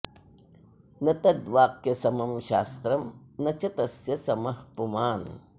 न तद्वाक्यसमं शास्त्रं न च तस्य समः पुमान्